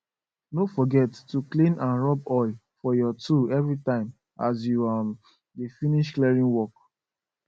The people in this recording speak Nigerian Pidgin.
no forget to clean and rub oil for your tool everytime as you um dey finish clearing work